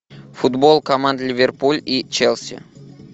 футбол команд ливерпуль и челси